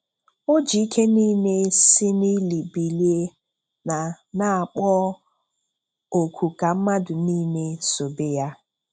O ji ike nile si n'ili bilie, na na kpọọ oku ka mmadụ nile sobe Ya.